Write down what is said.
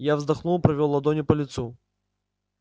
я вздохнул провёл ладонью по лицу